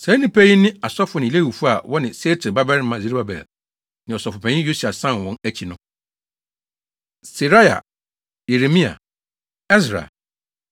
Saa nnipa yi ne asɔfo ne Lewifo a wɔne Sealtiel babarima Serubabel ne ɔsɔfopanyin Yesua san wɔn akyi no: Seraia, Yeremia, Ɛsra,